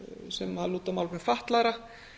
sem lúta að málefnum fatlaðra